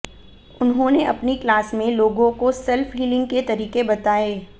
उन्होंने अपनी क्लास में लोगों को सेल्फ हीलिंग के तरीके बताए